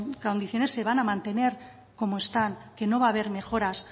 condiciones se van a mantener como están que no va a haber mejoras